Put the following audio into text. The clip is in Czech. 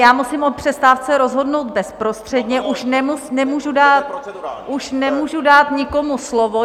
Já musím o přestávce rozhodnout bezprostředně, už nemůžu dát nikomu slovo.